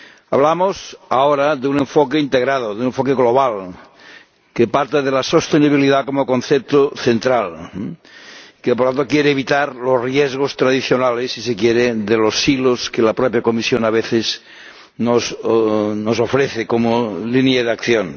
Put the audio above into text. Hablamos ahora de un enfoque integrado, de un enfoque global, que parte de la sostenibilidad como concepto central, que, por otra parte, quiere evitar los riesgos tradicionales, si se quiere, de los siglos, que la propia Comisión, a veces, nos ofrece como línea de acción.